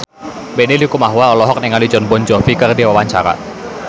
Benny Likumahua olohok ningali Jon Bon Jovi keur diwawancara